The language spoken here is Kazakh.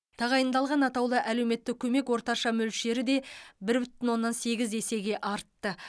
тағайындалған атаулы әлеуметтік көмек орташа мөлшері де бір бүтін оннан сегіз есеге артты